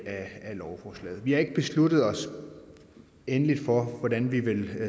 af lovforslaget vi har ikke besluttet os endeligt for hvordan vi vil